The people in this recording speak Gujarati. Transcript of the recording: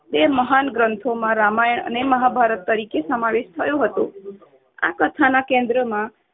બે મહાન ગ્રંથોમાં રામાયણ અને મહાભારત તરીકે સમાવેશ થયો હતો. આ કથાના કેન્દ્રમાં